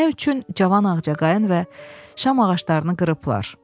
Nə üçün cavan ağcaqayın və şam ağaclarını qırıblar?